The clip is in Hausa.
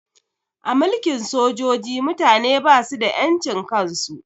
A mulkin sojoji mutane basu da ƴan cin kan su